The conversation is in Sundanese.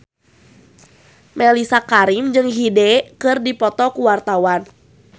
Mellisa Karim jeung Hyde keur dipoto ku wartawan